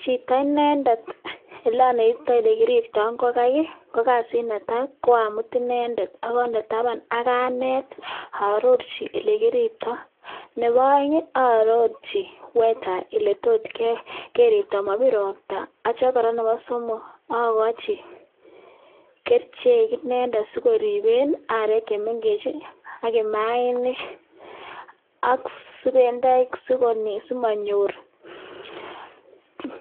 Chito inendet oleonetitoi olekiriptoi ingogaik i,kokasit netai koamut inendet ak andee tabaan ak aneet, arorchi olekiriptoi. Nebo peng arorchi oletokeriptoo komobiir roptaa yeityoo kora nebo somok akochi kerichek sikoribeen aarek chemengechen ak imaanik ak subenoik sikomonyor